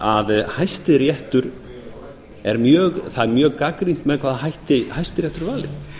að það er mjög gagnrýnt með hvaða hætti hæstiréttur er valinn